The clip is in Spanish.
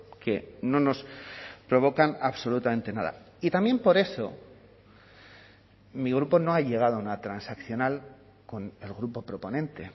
que no nos provocan absolutamente nada y también por eso mi grupo no ha llegado a una transaccional con el grupo proponente